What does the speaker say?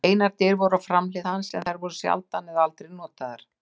Einar dyr voru á framhlið hans en þær voru sjaldan eða aldrei notaðar.